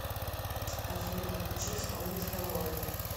афина включи исполнителя лорди